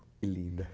Que lindo,